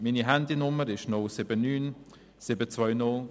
Meine Handynummer lautet 079 720 77 86.